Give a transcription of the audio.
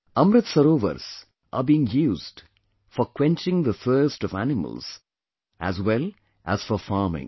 Amrit Sarovars are being used for quenching the thirst of animals as well as for farming